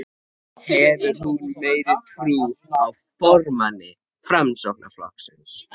Hefur hún meiri trú á formanni Framsóknarflokksins?